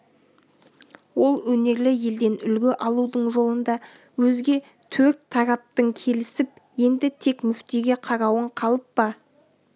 ол өнерлі елден үлгі алудың жолында өзге төрт тарапың келісіп енді тек мүфтиге қарауың қалып па